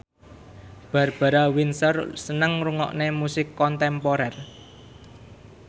Barbara Windsor seneng ngrungokne musik kontemporer